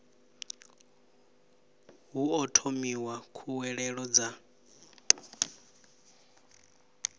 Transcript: hu o thomiwa khuwelelo dza